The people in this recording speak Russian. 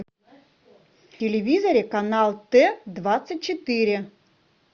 в телевизоре канал т двадцать четыре